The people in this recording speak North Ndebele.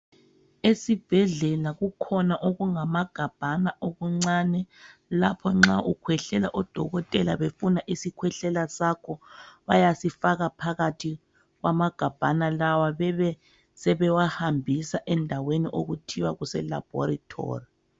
Esibhedlela kukhona okungamagabhana okuncane lapho nxa ukhwehlela odokotela befuna isikhwehla sakho, bayasifaka phakathi kwamagabhana lawa bebe sebewahambisa endaweni okuthiwa kuse laboratory.